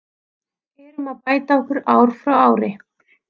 Erum að bæta okkur ári frá ári.